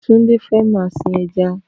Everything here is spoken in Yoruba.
Tunde fè mà sin èjá